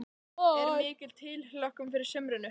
Er mikil tilhlökkun fyrir sumrinu?